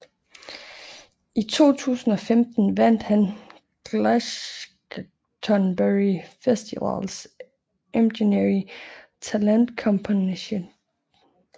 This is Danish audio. I 2015 vandt han Glastonbury Festivals Emerging Talent Competition